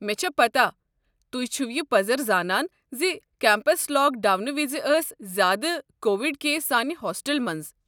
مےٚ چھےٚ پتاہ تُہۍ چھِوٕ یہِ پزر زانان زِ کمپس لاک ڈاونہٕ وِزِ ٲسۍ زیٛادٕ کووِڈ کیس سانہِ ہوسٹلہٕ منٛزٕ۔